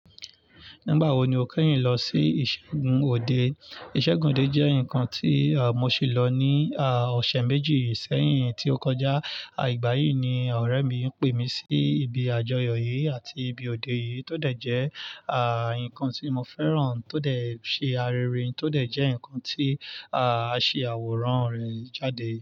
Nígbà wo ni o kẹ́yìn lọ sí ìṣègùn òde? Ìṣègùn òde jẹ́ ǹkan tí mo sì lọ ní ọ̀sẹ̀ méjì sẹ́yìn tí ó kọjá. Igbà yí ni ọ̀rẹ́ mi pè mí sí ibi àjọyọ̀ yìí àti ibi òde yìí tó dẹ̀ jẹ́ ǹkan tí mo fẹ́ràn tó dẹ̀ ṣe arerin, tó dẹ̀ jẹ́ ǹkan tí a ṣì àwòrán rẹ̀ jáde.